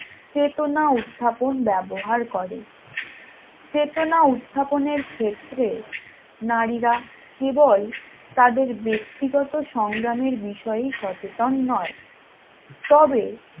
চেতনা উত্থাপন ব্যবহার করে চেতনা উত্থাপন এর ক্ষেত্রে নারীরা কেবল তাদের ব্যক্তিগত সংগ্রামের বিষয়ে সচেতন নয় তবে